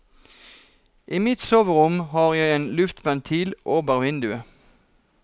I mitt soverom har jeg en lufteventil over vinduet.